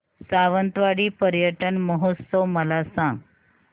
सावंतवाडी पर्यटन महोत्सव मला सांग